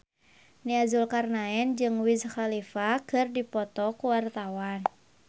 Nia Zulkarnaen jeung Wiz Khalifa keur dipoto ku wartawan